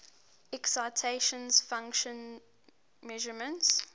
excitation function measurements